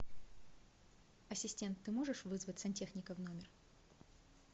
ассистент ты можешь вызвать сантехника в номер